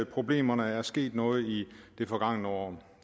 problemerne er sket noget i det forgangne år